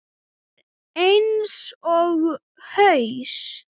Það er eins og haus